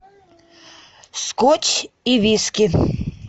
скотч и виски